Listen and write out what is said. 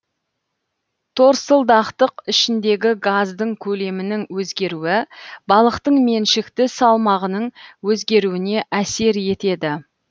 торсылдақтық ішіндегі газдың көлемінің өзгеруі балықтың меншікті салмағының өзгеруіне әсер етеді